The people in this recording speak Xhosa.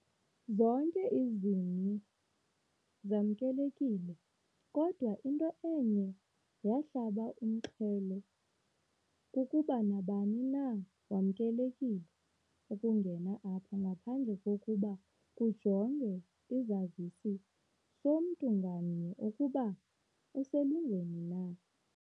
Zonke izini zamnkelekile, kodwa into eye yahlaba umxhelo kukuba nabani na wamnkelekile ukungena apha ngaphandle kokuba kujongwe isazisi somntu ngamnye ukuba uselungelweni na.